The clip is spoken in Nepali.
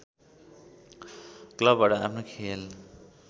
क्लबबाट आफ्नो खेल